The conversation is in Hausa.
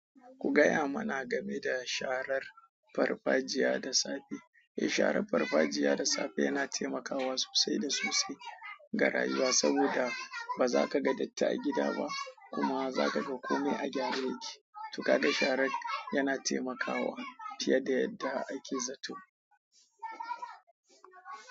Ku gaya mana game da sharar farfajiya da safe. Eh sharar farfajiya da safe yana taimakawa sosai da sosai ga rayuwa saboda ba za ka ga datti a gida ba kuma za ka ga kome a gyare ba. To ka ga sharan yana taimaka wa fiye da yadda ake zato.